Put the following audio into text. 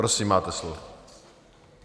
Prosím, máte slovo.